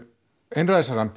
einræðisherrann